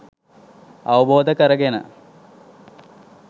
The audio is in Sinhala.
අවබෝධ කරගෙන